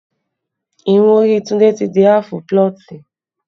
Irun orí Tunde ti di aafu pulọ̀tì